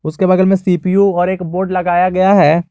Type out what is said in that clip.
उसके बगल में सी_पी_यू और एक बोर्ड लगाया गया है।